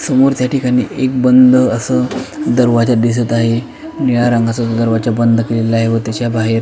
समोर त्या ठिकाणी एक बंद अस दरवाजा दिसत आहे निळ्या रंगाचा जो दरवाजा बंद केलेला आहे व त्याच्या बाहेर --